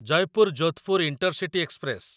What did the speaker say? Jaipur Jodhpur intercity express